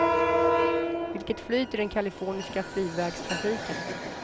Vilket flyt i den kaliforniska frivägstrafiken!